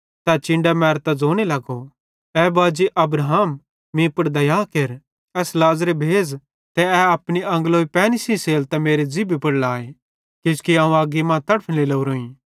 तै चिन्डां मैरतां ज़ोने लगो ए बाजी अब्राहम मीं पुड़ दया केर एस लाज़रे भेज़ ते ए अपनी आंग्लोई पैनी सेइं सेलतां मेरे ज़िभी पुड़ लाए किजोकि अवं अग्गी मां तड़फने लोरोईं